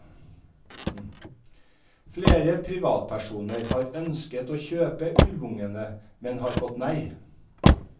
Flere privatpersoner har ønsket å kjøpe ulvungene, men har fått nei.